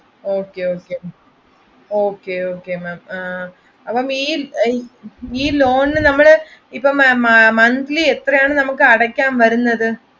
Okay Okay ma'am അപ്പൊ ഈ loan നമ്മൾ monthly എത്രെയാണ് നമ്മൾക്ക് അടക്കാൻ വരുന്നത്?